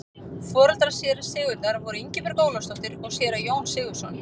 Foreldrar séra Sigurðar voru Ingibjörg Ólafsdóttir og séra Jón Sigurðsson.